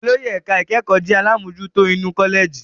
Olórí ẹ̀ka ìkẹ́kọ̀ọ́ jẹ́ àlámojutó inú kọ́lẹ̀jì.